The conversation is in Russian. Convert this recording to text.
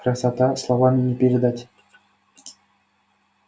красота словами не передать